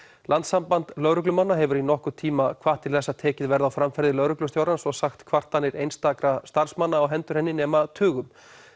landssamband lögreglumanna hefur í nokkurn tíma hvatt til þess að tekið verði á framferði lögreglustjórans og sagt kvartanir einstakra starfsmanna á hendur henni nema tugum